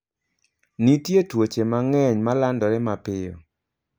Nitie tuoche mang'eny ma landore mapiyo.